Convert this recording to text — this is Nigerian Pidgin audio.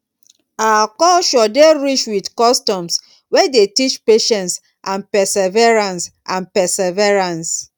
our culture dey rich with customs wey dey teach patience and perseverance. and perseverance.